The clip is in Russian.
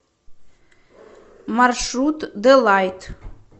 маршрут делайт